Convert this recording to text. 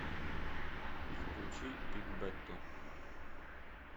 включи бигбэту